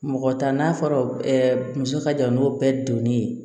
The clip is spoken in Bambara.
Mɔgɔ ta n'a fɔra muso ka jan n'o bɛɛ donn'i ye